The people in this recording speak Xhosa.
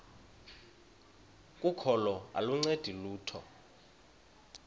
kokholo aluncedi lutho